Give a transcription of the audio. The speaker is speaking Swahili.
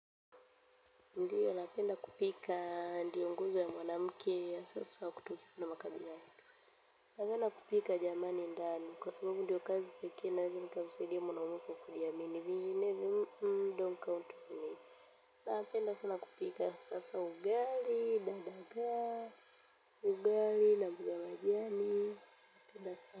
Ndiyo napenda kupika ndiyo nguzo ya mwanamke ya sasa kutokifu na makabila napenda kupika jamani ndani kwa sababu ndiyo kazi pekee inaeweza kumsaidia mwanamke kujiamini vinginevyo don't count me napenda sana kupika sasa ugali, na dagaa, ugali na mboga za majani.